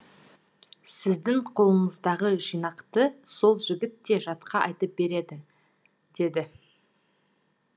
сіздің қолыңыздағы жинақты сол жігіт те жатқа айтып береді деді